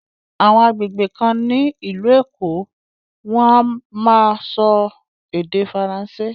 Àwọn àgbègbè kan ní ìlú Èkó wọ́n á máa sọ Ède Faransé.